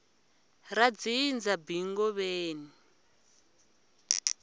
ra dzindza b ngobeni